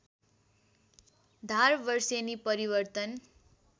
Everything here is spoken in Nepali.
धार वर्षेनी परिवर्तन